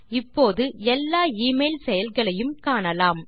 இப்போது எல்லா எமெயில் செயல்களையும் காணலாம்